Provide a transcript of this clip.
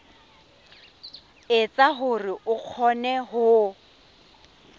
etsa hore o kgone ho